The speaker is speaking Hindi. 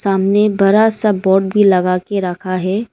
सामने बरा सा बोर्ड भी लगा के रखा है।